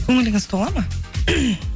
көңіліңіз толады ма